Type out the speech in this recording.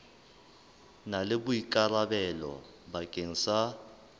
na le boikarabelo bakeng sa